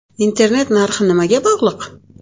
Internet narxi nimaga bog‘liq?.